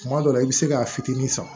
Kuma dɔ la i bɛ se k'a fitinin san